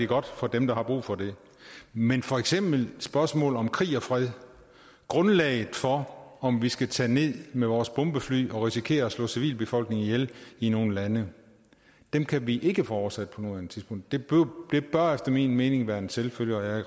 godt for dem der har brug for det men for eksempel spørgsmål om krig og fred grundlaget for om vi skal tage ned med vores bombefly og risikere at slå civilbefolkningen ihjel i nogle lande kan vi ikke få oversat på nuværende tidspunkt det bør efter min mening være en selvfølge og jeg